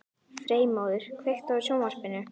Freymóður, kveiktu á sjónvarpinu.